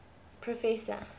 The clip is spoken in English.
professor